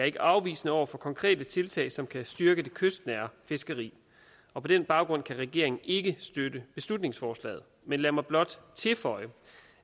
ikke afvisende over for konkrete tiltag som kan styrke det kystnære fiskeri og på den baggrund kan regeringen ikke støtte beslutningsforslaget men lad mig blot tilføje